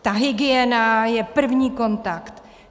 Ta hygiena je první kontakt!